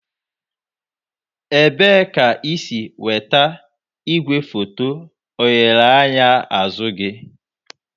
Ebee ka ị si nweta igwefoto oghere anya azụ gị?